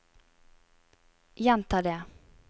gjenta det